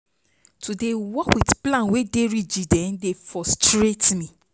To dey work wit plan wey dey rigid dey frustrate me.